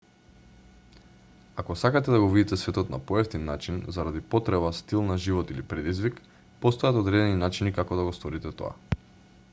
ако сакате да го видите светот на поевтин начин заради потреба стил на живот или предизвик постојат одредени начини како да го сторите тоа